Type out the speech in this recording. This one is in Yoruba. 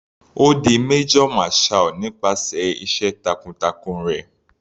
Ó di major marshall nípasẹ̀ iṣẹ́ takun-takun rẹ̀.